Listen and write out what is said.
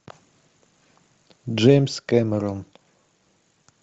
джеймс кэмерон